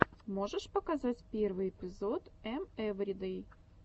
можешь показать первый эпизод эм эвридэй